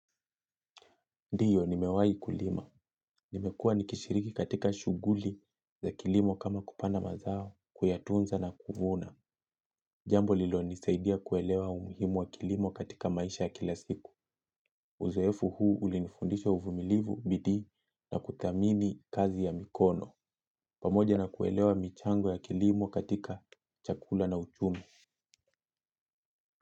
Ndiyo, nimewahi kulima. Nimekua ni kishiriki katika shughuli za kilimo kama kupanda mazao, kuyatunza na kuvuna. Jambo lililonisaidia kuelewa umuhimu wa kilimo katika maisha ya kila siku. Uzoefu huu ulinifundisha uvumilivu, bidii na kuthamini kazi ya mikono. Pamoja na kuelewa michango ya kilimo katika chakula na uchumi.